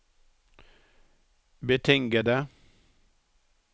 betingede